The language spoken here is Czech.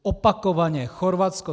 Opakovaně Chorvatsko.